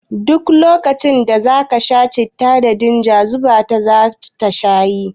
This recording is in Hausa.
Duk lokacin da za ka sha citta ka dinga zuba ta shayi